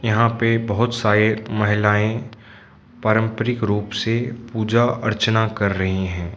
यहां पे बहुत साये महिलाएं पारंपरिक रूप से पूजा अर्चना कर रही हैं।